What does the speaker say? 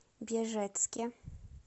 бежецке